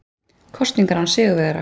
Kosningar án sigurvegara